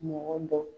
Mɔgɔ dɔ